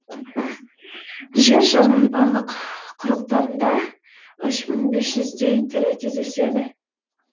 жер шарының барлық құрлықтарында үш мың бес жүздей түрі кездеседі